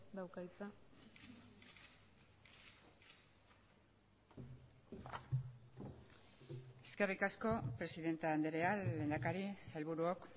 dauka hitza eskerrik asko presidente andrea lehendakari sailburuok